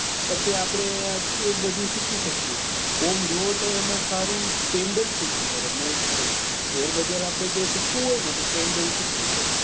પછી આપડે એ બધું શીખી શકીએ આમ જોવો તો એમાં સારું candle શીખવી પડે main જે share બજાર આપડે જે શીખવું હોય ને તો candle શીખવું પડે